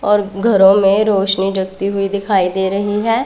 और घरों में रोशनी जगती हुई दिखाई दे रही है।